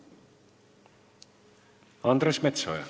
Andres Metsoja.